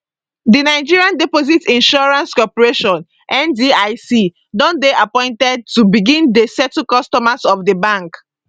di nigeria deposit insurance corporation ndic don dey appointed to begin dey settle customers of di bank